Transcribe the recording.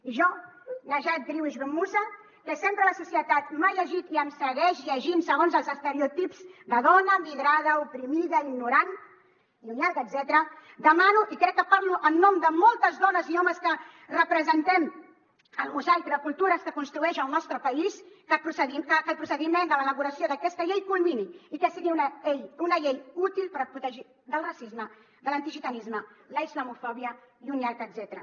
i jo najat driouech ben moussa que sempre la societat m’ha llegit i em segueix llegint segons els estereotips de dona migrada oprimida ignorant i un llarg etcètera demano i crec que parlo en nom de moltes dones i homes que representem el mosaic de cultures que construeix el nostre país que el procediment de l’elaboració d’aquesta llei culmini i que sigui una llei útil per protegir del racisme de l’antigitanisme la islamofòbia i un llarg etcètera